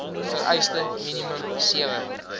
vereiste minimum sewe